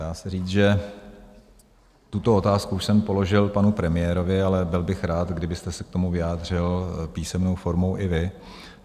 Dá se říct, že tuto otázku už jsem položil panu premiérovi, ale byl bych rád, kdybyste se k tomu vyjádřil písemnou formou i vy.